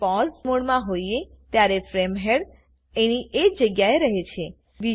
જ્યારે પોઝ મોડમાં હોઈએ ત્યારે ફ્રેમ હેડ એની એજ જગ્યાએ રહે છે